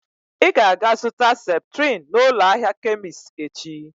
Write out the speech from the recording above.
Ị ga aga-azụta Septrin n'ụlọ ahịa Kemist echi